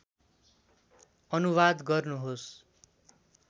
अनुवाद गर्नुहोस्